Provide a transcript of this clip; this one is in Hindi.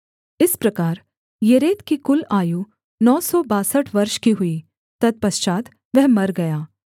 इस प्रकार येरेद की कुल आयु नौ सौ बासठ वर्ष की हुई तत्पश्चात् वह मर गया